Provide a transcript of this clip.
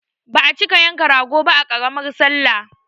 Ba a cika yanka rago ba a ƙaramar sallah